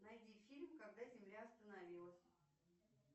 найди фильм когда земля остановилась